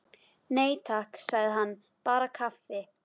Nei, takk, sagði hann, bara kaffi.